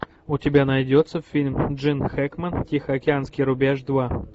у тебя найдется фильм джин хэкмен тихоокеанский рубеж два